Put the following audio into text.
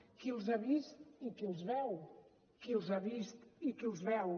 qui els ha vist i qui els veu qui els ha vist i qui els veu